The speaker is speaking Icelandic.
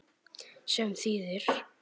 Sem þýðir?